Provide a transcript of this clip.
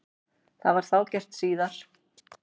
Það var þá gert síðar.